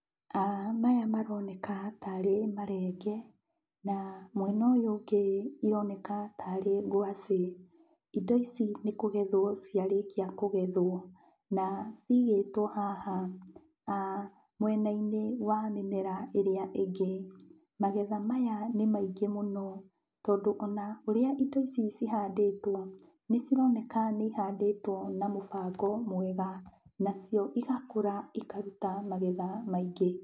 Maya maroneka tarĩ marenge, na mwena ũyũ ũngĩ ironeka tarĩ ngwacĩ. Indo ici nĩ kũgethwo ciarĩkia kũgethwo, na cigĩtwo haha mwena-inĩ wa mĩmera ĩrĩa ĩngĩ. Magetha maya nĩ maingĩ mũno, tondũ ona ũrĩa indo ici cihandĩtwo, nĩcironeka nĩ ihandĩtwo na mũbango mwega, nacio igakũra ikaruta magetha maingĩ.